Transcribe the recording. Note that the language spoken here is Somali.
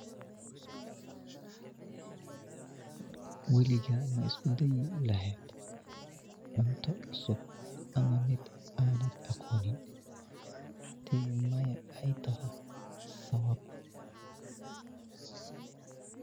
Waliga ma isku dayi lahed cunto ama mid anad aqonin hadi mayo ay taho sabab